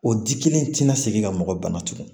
O di kelen tɛna segin ka mɔgɔ bana tugun